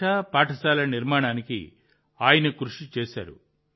భాషా పాఠశాల నిర్మాణానికి ఆయన కృషి చేశారు